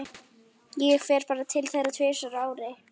Ég fer bara til þeirra tvisvar á ári.